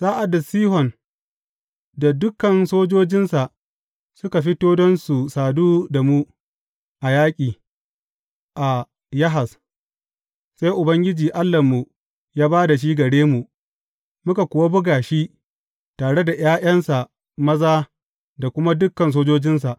Sa’ad da Sihon da dukan sojojinsa suka fito don su sadu da mu, a yaƙi, a Yahaz, sai Ubangiji Allahnmu ya ba da shi gare mu, muka kuwa buga shi tare da ’ya’yansa maza da kuma dukan sojojinsa.